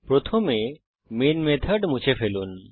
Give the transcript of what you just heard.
প্রথমে main method মুছে ফেলুন